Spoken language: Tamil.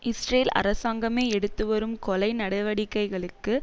இஸ்ரேல் அரசாங்கமே எடுத்துவரும் கொலை நடவடிக்கைகளுக்கு